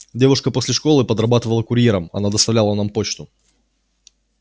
девушка после школы подрабатывала курьером она доставила нам почту